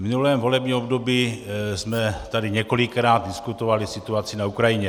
V minulém volebním období jsme tady několikrát diskutovali situaci na Ukrajině.